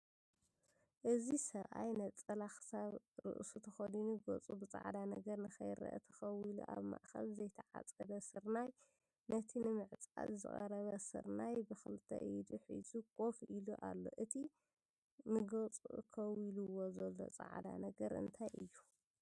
እዚ ሰብኣይ ነፀላ ክሳብ ርእሱ ተኸዲኑ ገፁ ብፃዕዳ ነገር ንከይረአ ተኸዊሉ ኣብ ማእከል ዘይተዓፀደ ስርናይ ነቲ ንምዕፃድ ዝቐረበ ስርናይ ብክልተ ኢዱ ሒዙ ኮፍ ኢሉ ኣሎ፡፡ እቲ ንገፁ ከዊልዎ ዘሎ ፃዕዳ ነገር እንታይ እዩ?